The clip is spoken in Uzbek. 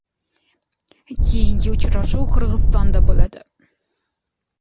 Keyingi uchrashuv Qirg‘izistonda bo‘ladi.